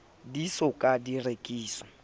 di so ka di rekiswa